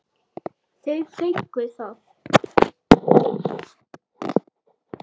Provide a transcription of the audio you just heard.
Þau fengu það.